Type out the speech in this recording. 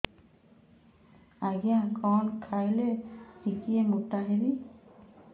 ଆଜ୍ଞା କଣ୍ ଖାଇଲେ ଟିକିଏ ମୋଟା ହେବି